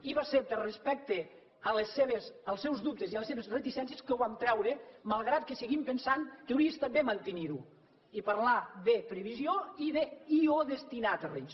i va ser per respecte als seus dubtes i a les seves reticències que ho vam treure malgrat que seguim pensant que hauria estat bé mantenir ho i parlar de previsió i d’ i o destinar terrenys